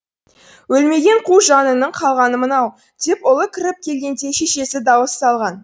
өлмеген қу жаныңның қалғаны мынау деп ұлы кіріп келгенде шешесі дауыс салған